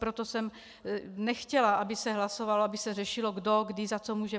Proto jsem nechtěla, aby se hlasovalo, aby se řešilo, kdo kdy za co může.